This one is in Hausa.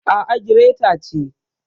A'a, gireta ce.